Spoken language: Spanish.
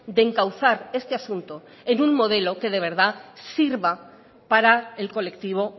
de encauzar este asunto en un modelo que de verdad sirva para el colectivo